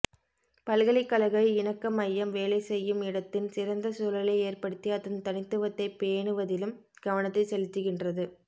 பல்கலைக்கழக இணக்க மையம் வேலை செய்யும் இடத்தின் சிறந்த சூழலை ஏற்படுத்தி அதன் தனித்துவத்தை பேணுவதிலும் கவனத்தை செலுத்துகின்றது